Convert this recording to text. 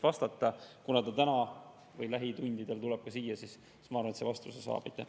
Kuna ta tuleb täna lähitundidel ka siia, siis ma arvan, et see saab vastuse.